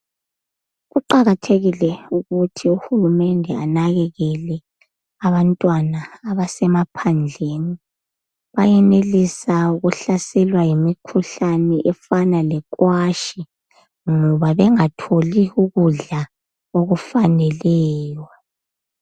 Kuqakathekile ukuthi uhulumende anakekele abantwana abasemaphandleni. Bayenelisa ukuhlaselwa yimikhuhlane efana lekwashi ngoba bengatholi ukudla okufaneleyo.